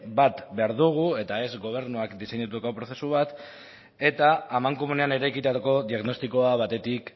bat behar dugu eta ez gobernuak diseinatutako prozesu bat eta amankomunean eraikitako diagnostikoa batetik